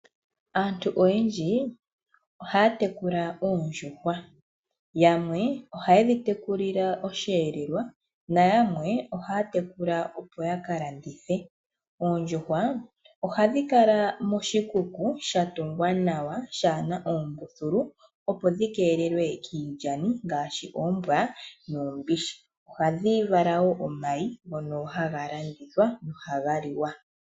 Aantu oyendji ohaya tekula oondjuhwa. Yamwe ohaye dhi tekulile osheelelwa nayamwe ohata tekula opo ya ka landithe. Oondjuhwa ohadhi kala moshikuku sha tungwa nawa shaahena oombuthulu opo dhi keelelwe kiilyani ngashi oombwa nuumbishi. Ohadhi vala wo omayi ngono haga landithwa gohaga liwa.